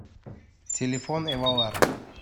телефон эвалар